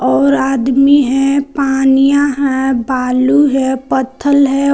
और आदमी है पानियां है बालू है पत्थल है।